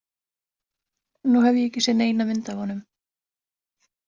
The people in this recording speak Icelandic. Nú hef ég ekki séð neina mynd af honum.